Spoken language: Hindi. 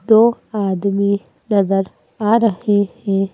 दो आदमी नजर आ रहे हैं ।